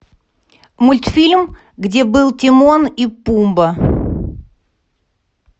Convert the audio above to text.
мультфильм где был тимон и пумба